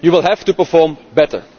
You will have to perform better.